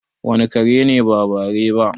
wane kare ne ba bare ba?